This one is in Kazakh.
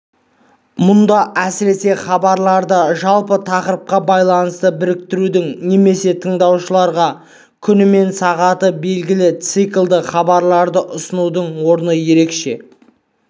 мұнда әсіресе хабарларды жалпы тақырыпқа байланысты біріктірудің немесе тыңдаушыларға күні мен сағаты белгілі циклді хабарларды ұсынудың орны ерекше